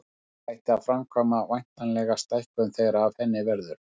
En hvernig ætti að framkvæma væntanlega stækkun þegar af henni verður.